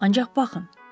Ancaq baxın.